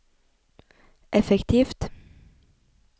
effektivt